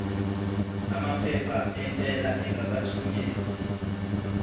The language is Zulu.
amaphepha entela engakathunyelwa